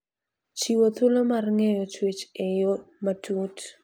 Chiwo thuolo mar ng'eyo chwech e yo matut.